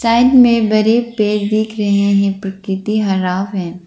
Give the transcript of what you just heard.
Side में बड़े पेड़ दिख रहे हैं प्रकृति हरा है।